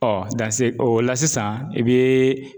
Ɔ danse o la sisan e bee